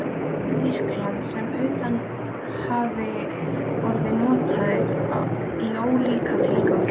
Þýskalands sem utan hafi verið notaðir í álíka tilgangi.